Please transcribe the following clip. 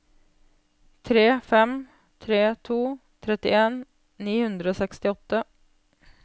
tre fem tre to trettien ni hundre og sekstiåtte